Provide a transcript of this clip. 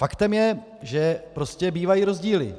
Faktem je, že prostě bývají rozdíly.